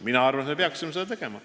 Mina arvan, et me peaksime seda tegema.